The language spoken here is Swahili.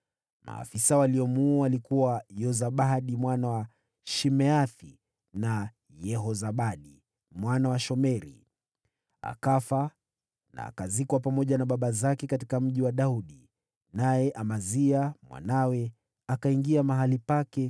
Maafisa waliomuua walikuwa Yozabadi mwana wa Shimeathi, na Yehozabadi mwana wa Shomeri. Akafa na akazikwa pamoja na baba zake katika Mji wa Daudi. Naye Amazia mwanawe akawa mfalme baada yake.